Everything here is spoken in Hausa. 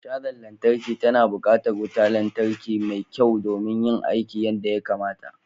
Cajar lantarki tana buƙatar wutar lantarki mai kyau don yin aiki yadda ya kamata.